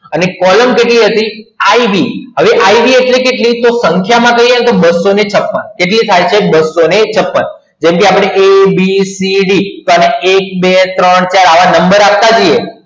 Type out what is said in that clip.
અને કોલમ કેટલી હતી એટલે કે ib હવે ib એટલે કેટલી તો પંજાબમાં કહીએ તો બસો છપણ હવે બસો છપણ જેવી કે આપે a b c d તો એક બે ત્રણ ચાર આવા નંબર આપવા જ જઈએ